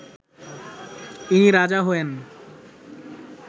ইনি রাজা হয়েন